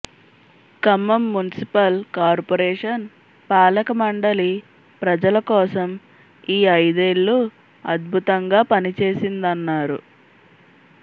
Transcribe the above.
Khammam municipal corporation పాలకమండలి ప్రజల కోసం ఈ ఐదేళ్లు అద్భుతంగా పని చేసిందన్నారు